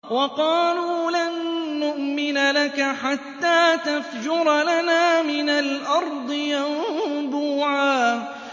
وَقَالُوا لَن نُّؤْمِنَ لَكَ حَتَّىٰ تَفْجُرَ لَنَا مِنَ الْأَرْضِ يَنبُوعًا